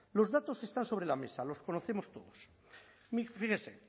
los datos están sobre la mesa los conocemos todos fíjese